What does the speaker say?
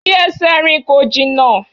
Fi ẹsẹ̀ rìn, kò jìnnà!